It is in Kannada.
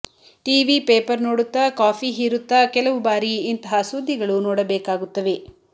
ಟೀವಿ ಪೇಪರ್ ನೋಡುತ್ತ ಕಾಫಿ ಹೀರುತ್ತಾ ಕೆಲವು ಬಾರಿ ಇಂತಹ ಸುದ್ಧಿಗಳು ನೋಡಬೇಕಾಗುತ್ತವೆ